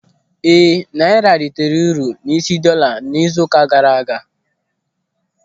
Ee, naịra reitere uru n'isi dọọla n'izu ụka gaara aga.